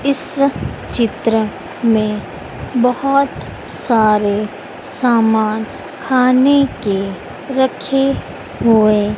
इस चित्र में बहोत सारे सामान खाने के रखे हुए--